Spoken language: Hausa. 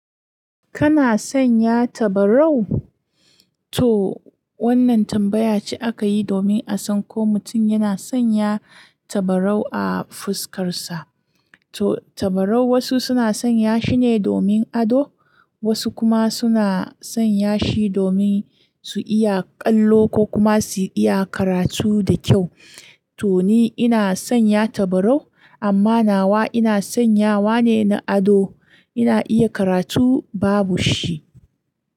Kana sanya tabarau? To wannan tambaya ce aka yi domin a san ko mutum yana sanya tabarau a fuskarsa. To tabarau wasu suna sanya shi ne domin ado, wasu kuma suna sanya shi domin su iya kallo ko kuma su iya karatu da kyau. To ni ina sanya tabarau amma nawa ina sanyawa ne na ado. Ina iya karatu babu shi.